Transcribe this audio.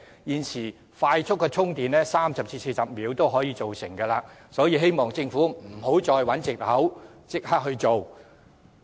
現時的快速充電設施只需要30至40分鐘，便可大致上完成充電，所以希望政府不要再找藉口，應立刻付諸實行。